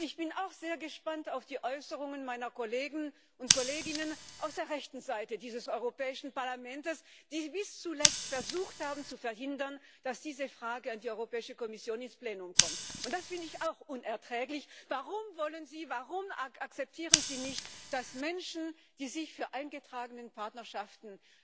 Ich bin auch sehr gespannt auf die Äußerungen meiner Kollegen und Kolleginnen aus der rechten Seite dieses Europäischen Parlaments, die bis zuletzt versucht haben, zu verhindern, dass diese Anfrage an die Europäische Kommission ins Plenum kommt. Und das finde ich auch unerträglich Warum akzeptieren Sie nicht, dass Menschen, die sich für eingetragene Partnerschaften